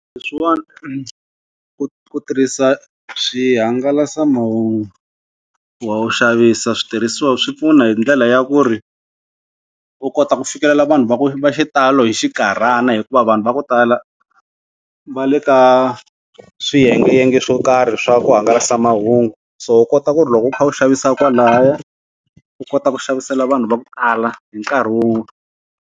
Leswiwani ku ku tirhisa swihangalasamahungu xavisa switirhisiwa swi pfuna hi ndlela ya ku ri u kota ku fikelela vanhu va ku va xitalo hi xinkarhana hikuva vanhu va ku tala va le ka swiyengeyenge swo karhi swa ku hangalasa mahungu so u kota ku ri loko u kha u xavisa kwalahaya u kota ku xavisela vanhu va ku tala hi nkarhi wun'we.